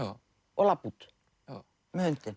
og labba út með hundinn